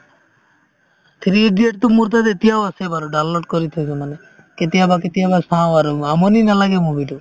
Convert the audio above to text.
three idiots তো মোৰ তাত এতিয়াও আছে বাৰু download কৰি থৈছো মানে কেতিয়াবা কেতিয়াবা চাওঁ আৰু আমনি নালাগে movie তো